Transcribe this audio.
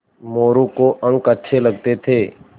मोरू को अंक अच्छे लगते थे